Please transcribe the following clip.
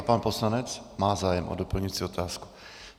A pan poslanec má zájem o doplňující otázku.